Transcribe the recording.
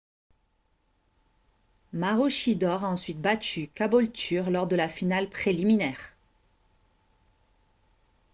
maroochydore a ensuite battu caboolture lors de la finale préliminaire